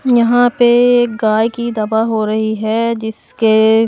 यहां पे एक गाय की दवा हो रही है जिसके--